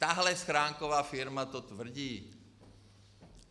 Tahle schránková firma to tvrdí.